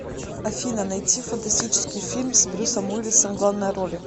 афина найти фантастический фильм с брюссом уиллисом в главной роли